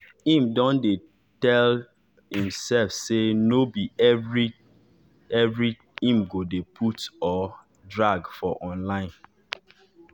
im don dey tell dey tell imsef say nor be every every im go de put or drag for online